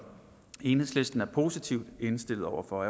enhedslisten er positivt indstillet over for